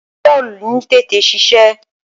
Panadọ́lú ń tètè ṣiṣẹ́.